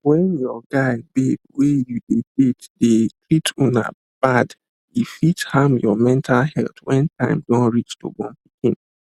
when your guy babe wey you de date dey treat una bad e fit harm your mental health wen time don reach to born pikin